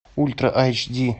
ультра эйч ди